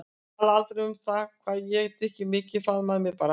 Talaði aldrei um það hvað ég drykki mikið, faðmaði mig bara.